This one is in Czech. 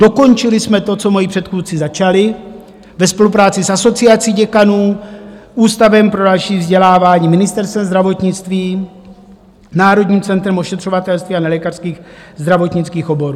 Dokončili jsme to, co moji předchůdci začali ve spolupráci s Asociací děkanů, Ústavem pro další vzdělávání, Ministerstvem zdravotnictví, Národním centrem ošetřovatelství a nelékařských zdravotnických oborů.